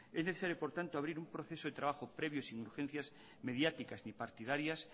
es necesario por tanto abrir un proceso de trabajo previo y sin urgencias mediáticas ni partidarias